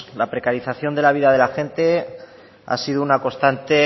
la precarización de la vida de la gente ha sido una constante